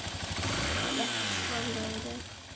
létt og liðug